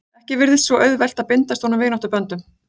Ekki virtist vera auðvelt að bindast honum vináttuböndum.